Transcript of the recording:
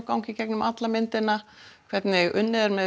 ganga í gegnum alla myndina hvernig unnið er með